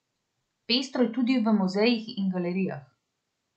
Pestro je tudi v muzejih in galerijah.